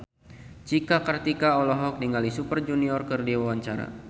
Cika Kartika olohok ningali Super Junior keur diwawancara